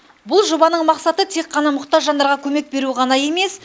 бұл жобаның мақсаты тек қана мұқтаж жандарға көмек беру ғана емес